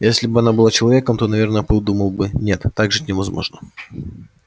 если бы она была человеком то наверное подумала бы нет так жить невозможно